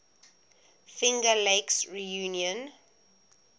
finger lakes region